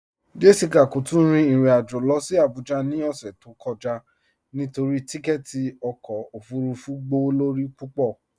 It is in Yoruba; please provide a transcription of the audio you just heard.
Jessica kò tún rìn irin ajó lọ sí Àbújà ni ọṣẹ̀ tó kọja nítorí tìkẹ̀tì ọkọ ofúrúfú gbọwọ́lọ́rí púpọ.